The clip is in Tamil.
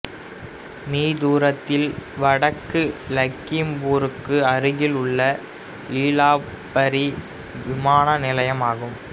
மீ தூரத்தில் வடக்கு லக்கிம்பூருக்கு அருகிலுள்ள லிலாபரி விமான நிலையம் ஆகும்